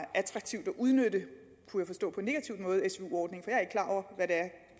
attraktivt at udnytte svu ordningen